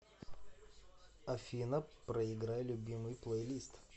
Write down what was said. афина проиграй любимый плейлист